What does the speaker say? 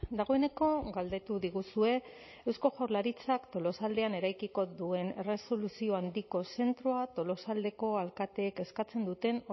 dagoeneko galdetu diguzue eusko jaurlaritzak tolosaldean eraikiko duen erresoluzio handiko zentroa tolosaldeko alkatek eskatzen duten